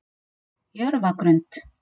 Jörfagrund